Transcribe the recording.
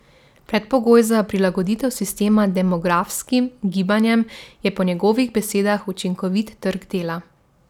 Minus je ta čas samo pri alpskem smučanju.